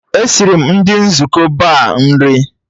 E siri m ndị nzukọ Ba nri